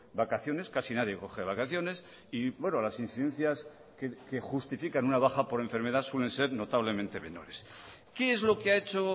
vacaciones casi nadie coge vacaciones y las incidencias que justifican una baja por enfermedad suelen ser notablemente menores qué es lo que ha hecho